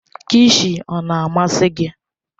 Kilshi ọ na-amasị gị?